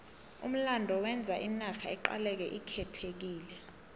umlando wenza inarha iqaleke ikhethekile